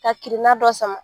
Ka kirina dɔ sama.